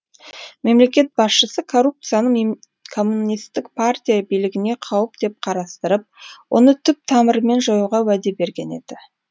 мемлекет басшысы коррупцияны коммунистік партия билігіне қауіп деп қарастырып оны түп тамырымен жоюға уәде берген еді